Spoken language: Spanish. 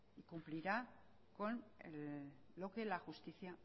cumplirá con lo que la justicia